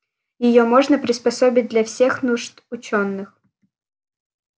её можно приспособить для всех нужд учёных